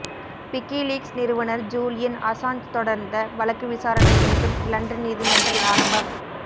WikiLeaks நிறுவுனர் Julian Assange தொடர்ந்த வழக்கு விசாரணை மீண்டும் லண்டன் நீதிமன்றில் ஆரம்பம்